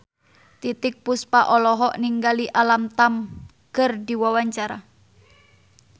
Titiek Puspa olohok ningali Alam Tam keur diwawancara